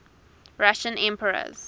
russian emperors